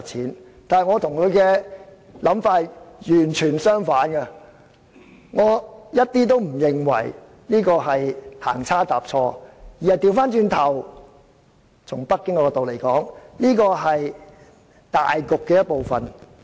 然而，我與涂議員的想法完全相反，我一點也不認為這是行差踏錯，反過來從北京的角度來看，這是大局的一部分。